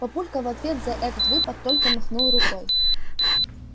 папулька в ответ за этот выпад только махнул рукой